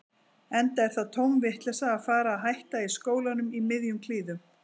Enda er það tóm vitleysa að fara að hætta í skólanum í miðjum klíðum.